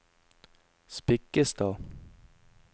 Spikkestad